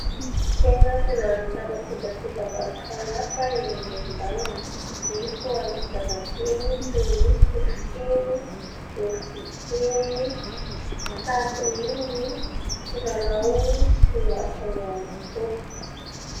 Tsena fivarotana kojakoja maro samihafa eny amoron-dalana, nisy ho an'ny zazakely toy ny: sotrokely, loviakely, tatin'ivy, kilalao sy ny hafa ihany koa.